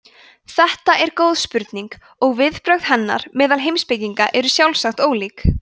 þetta er góð spurning og viðbrögð við henni meðal heimspekinga eru sjálfsagt ólík